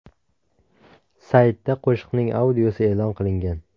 Saytda qo‘shiqning audiosi e’lon qilingan.